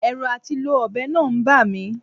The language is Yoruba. Ẹ̀rù àti lo ọ̀bẹ náà ń bà mi